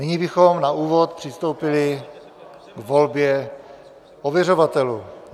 Nyní bychom na úvod přistoupili k volbě ověřovatelů.